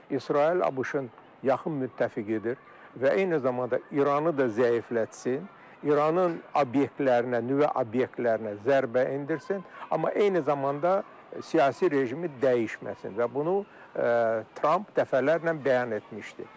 İsrail ABŞ-ın yaxın müttəfiqidir və eyni zamanda İranı da zəiflətsin, İranın obyektlərinə, nüvə obyektlərinə zərbə endirsin, amma eyni zamanda siyasi rejimi dəyişməsin və bunu Tramp dəfələrlə bəyan etmişdi.